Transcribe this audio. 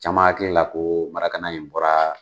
Caman hakilila ko in bɔra